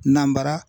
Nanbara